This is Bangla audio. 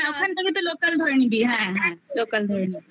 ওখান থেকে তো লোকাল ধরে নিবি হ্যাঁ হ্যাঁ লোকাল ধরে নিবি